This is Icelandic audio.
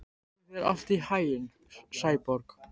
Gangi þér allt í haginn, Sæborg.